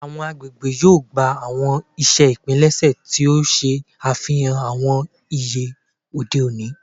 Awọn agbegbe yoo gba awọn iṣe ipilẹṣẹ ti o ṣe afihan awọn iye ode oni